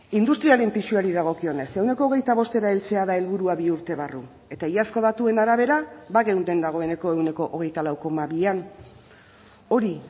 industriaren pisuari dagokionez ehuneko hogeita bostera heltzea da helburua bi urte barru eta iazko datuen arabera bageunden dagoeneko ehuneko hogeita lau koma bian hori